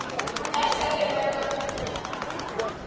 Það segir meðal annars